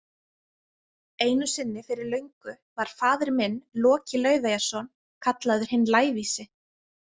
Einu sinni fyrir löngu var faðir minn, Loki Laufeyjarson, kallaður hinn lævísi